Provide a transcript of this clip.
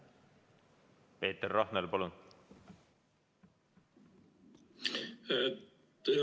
Peeter Rahnel, palun!